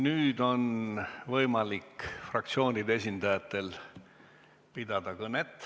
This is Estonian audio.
Nüüd on võimalik fraktsioonide esindajatel kõnet pidada.